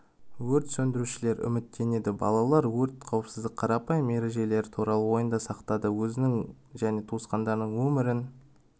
өрт сөндірушілер үміттенеді балалар өрт қауіпсіздік қарапайым ережелері туралы ойында сақтайды өзінің және туысқандарының өмірін